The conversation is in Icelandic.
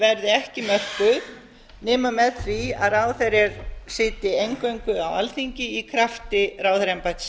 verði ekki mörkuð nema með því að ráðherrar sitji eingöngu á alþingi í krafti